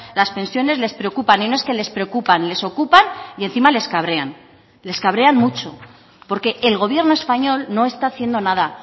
las pensiones les preocupan y no es que les preocupan les ocupan y encima les cabrean les cabrean mucho porque el gobierno español no está haciendo nada